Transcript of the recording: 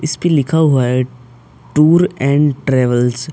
इस पे लिखा हुआ है टूर एण्ड ट्रैवल्स ।